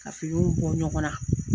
Ka finiw bɔ ɲɔgɔn na.